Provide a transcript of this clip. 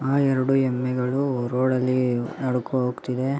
ಆ ಎರಡು ಎಮ್ಮೆಗಳು ರೋಡ್ ಲ್ಲಿ ನಡಕೊ ಹೋಗ್ತಿದೆ.